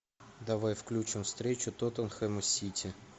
давай включим встречу тоттенхэм сити